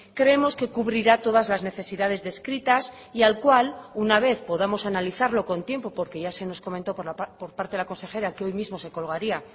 creemos que cubrirá todas las necesidades descritas y al cual una vez podamos analizarlo con tiempo porque ya se nos comentó por parte de la consejera que hoy mismo se colgaría